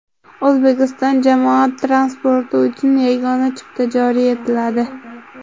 O‘zbekiston jamoat transporti uchun yagona chipta joriy etiladi.